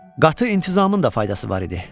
Qatı intizamın da faydası var idi.